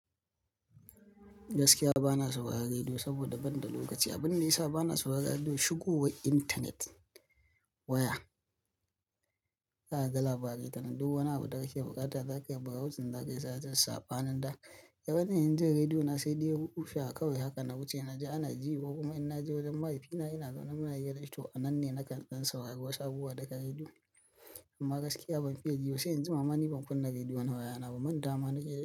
Gaskiya ba na sauraron rediyo saboda ban da lokaci. Abin yasa, ba na sauraron rediyo shigo wa intanet waya. Kaga labarai tanan, duk wani abu da kake bukata zaka yi brawuzin zaka sata sabanin, nan da yawanin jinrediyo na sai dai rufewa kawai haka na wuce na ji ana ji ko kuma in na je wajen mahaifina ina zaune muna hira toh, nan ne nakan saurari wasu abubuwa daga rediyo. Amma gaskiya ban fi ye jiba sai in jima ma. Mani ban kunna rediyo na waya na ba. Man tawa mana ke yi.